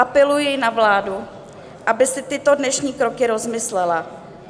Apeluji na vládu, aby si tyto dnešní kroky rozmyslela.